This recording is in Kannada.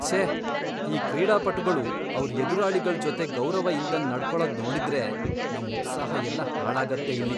ಛೇ! ಈ ಕ್ರೀಡಾಪಟುಗಳು ಅವ್ರ್ ಎದುರಾಳಿಗಳ್ ಜೊತೆ ಗೌರವ ಇಲ್ದಂಗ್ ನಡ್ಕೊಳದ್ ನೋಡಿದ್ರೆ ನಮ್ ಉತ್ಸಾಹ ಎಲ್ಲ ಹಾಳಾಗತ್ತೆ ಇಲ್ಲಿ.